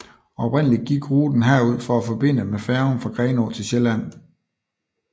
Oprindeligt gik ruten herud for at forbinde med færgen fra Grenå til Sjælland